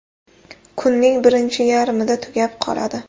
Kunning birinchi yarmida tugab qoladi.